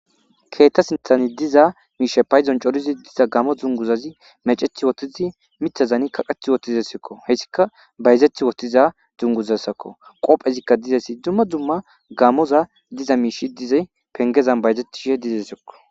Keetta sinthani diza miishe payzon corizi diza gamo dzunguzazi meceth wotizi mithazani kaqet wottizesekko hessika bayzethi wottiza dzunguzassakko qopphezikka dizesi dumma dumma gamoza diza miishi dizay pengezan bayzetishe dizesekko.